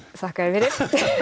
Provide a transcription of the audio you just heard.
þakka þér fyrir